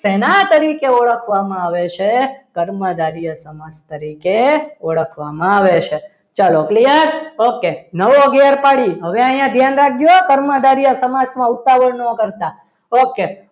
શેના તરીકે ઓળખવામાં આવે છે કર્મધારય સમાસ તરીકે ઓળખવામાં આવે છે તો clear okay નવો ઘેર પાડીએ હવે અહીંયા ધ્યાન રાખજો કર્મધાર્ય સમાસમાં ઉતાવળ ના કરતા okay